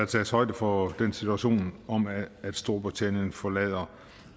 tages højde for den situation at storbritannien forlader